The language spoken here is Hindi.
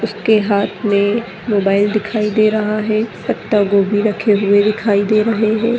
उसके हाँथ में मोबाइल दिखाई दे रहा है पत्ता गोभी रक्खी हुए दिखाई दे रहे है।